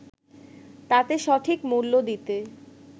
তাকে সঠিক মূল্য দিতে